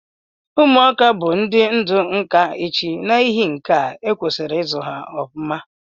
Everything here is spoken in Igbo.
Ụmuaka bu ndi ndu nka echi na ihi nkea ekwesiri izu ha ọfụma.